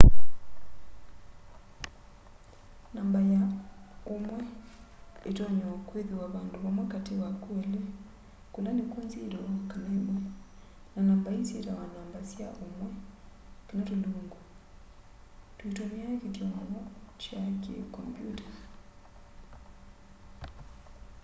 namba ya ũmwe ĩtonya o kwĩthĩwa vandũ vamwe katĩ wa kwĩlĩ kũla nĩkw'o 0 kana 1 na namba ii syĩtawa namba sya ũmwe kana tũlungu tũitũmĩa kĩthyomo kya kĩ kombyũta